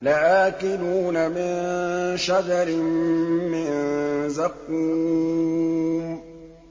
لَآكِلُونَ مِن شَجَرٍ مِّن زَقُّومٍ